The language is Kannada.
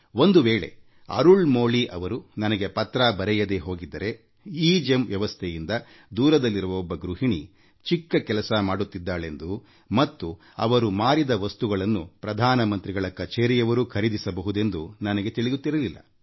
ಒಂದು ವೇಳೆ ಅರುಳ್ ಮೋಳಿ ಅವರು ನನಗೆ ಪತ್ರ ಬರೆಯದೇ ಹೋಗಿದ್ದರೆ ಎಗೆಮ್ ವ್ಯವಸ್ಥೆಯಿಂದ ದೂರದಲ್ಲಿರುವ ಒಬ್ಬ ಗೃಹಿಣಿ ಚಿಕ್ಕ ಕೆಲಸ ಮಾಡಿತ್ತಿದ್ದಾಳೆಂದು ಮತ್ತು ಅವರು ಮಾರಿದ ವಸ್ತುಗಳನ್ನು ಪ್ರಧಾನ ಮಂತ್ರಿಗಳ ಕಚೇರಿಯವರೂ ಖರೀದಿಸಬಹುದೆಂದು ನನಗೆ ತಿಳಿಯುತ್ತಿರಲಿಲ್ಲ